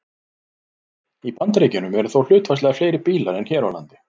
Í Bandaríkjunum eru þó hlutfallslega fleiri bílar en hér á landi.